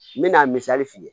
N bɛna misali f'i ye